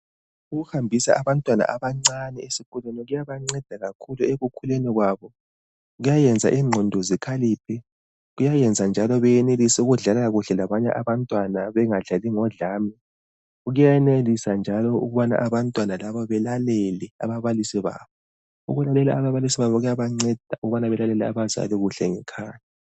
Ukuhambisa abantwana abancane esikolweni kuyabanceda kakhulu ekukhuleni kwabo. Kuyayenza ingqondo zikhaliphe kuyayenza njalo benelise ukudla kuhle labanye abantwana bengadlali ngodlami. Kuyenelisa njalo abantwana laba belalele ababalisi babo kuyabanceda belalele abazali ngekhaya.